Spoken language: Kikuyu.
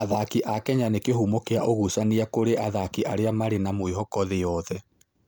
Athaki a Kenya nĩ kĩhumo kĩa ũgucania kũrĩ athaki arĩa marĩ na mwĩhoko thĩ yothe.